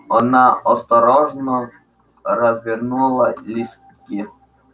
она осторожно развернула листки